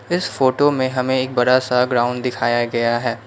इस फोटो में हमें एक बड़ा सा ग्राउंड दिखाया गया है।